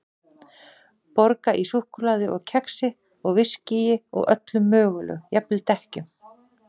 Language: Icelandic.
Borga í súkkulaði og kexi og viskíi og öllu mögulegu, jafnvel dekkjum.